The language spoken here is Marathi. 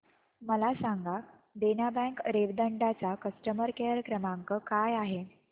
मला सांगा देना बँक रेवदंडा चा कस्टमर केअर क्रमांक काय आहे